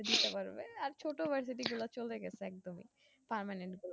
আর দিতে পারবে আর ছোট university গুলা চলে গেছে একদমই permanent গুলা